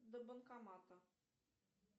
до банкомата